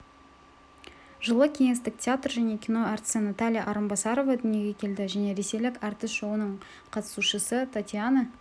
жылы кеңестік театр және кино әртісі наталья арынбасарова дүниеге келді жылы ресейлік әртіс шоуының қатысушысы татьяна